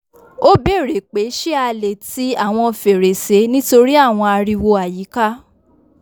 o bèrè pé ṣé a le ti awọn fèrèsé nitori awọn ariwo àyíká